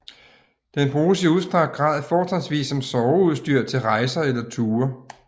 Den bruges i udstrakt grad fortrinsvis som soveudstyr til rejser eller ture